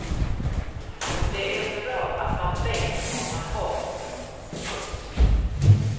Och det är bra att man vet var man har honom. punkt